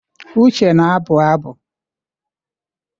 Uche na-abụ abụ.